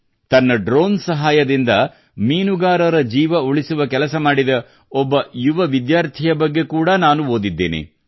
ತನ್ನ ಡ್ರೋನ್ ಸಹಾಯದಿಂದ ಮೀನುಗಾರರ ಜೀವ ಉಳಿಸುವ ಕೆಲಸ ಮಾಡಿದ ಓರ್ವ ಯುವ ವಿದ್ಯಾರ್ಥಿಯ ಬಗ್ಗೆ ಕೂಡಾ ನಾನು ಓದಿದ್ದೇನೆ